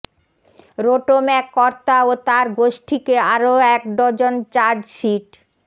রোটোম্যাক কর্তা ও তাঁর গোষ্ঠীকে আরও এক ডজন চার্জশিট